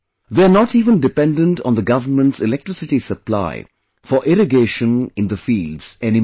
They are not even dependent on the government's electricity supply for irrigation in the field any more